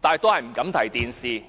但他依然不敢提及電視。